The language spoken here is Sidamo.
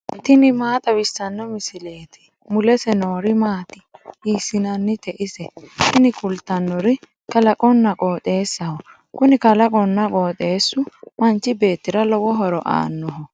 tini maa xawissanno misileeti ? mulese noori maati ? hiissinannite ise ? tini kultannori kalaqonna qooxeessaho. kuni kalaqonna qooxeessu manchi beettira lowo horo aannoho